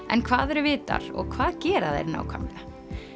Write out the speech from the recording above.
en hvað eru vitar og hvað gera þeir nákvæmlega